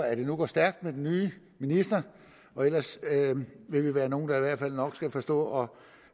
at det nu går stærkt med den nye minister og ellers vil vi være nogle der i hvert fald nok skal forstå